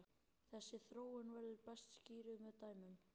Þessi þróun verður best skýrð með dæmum.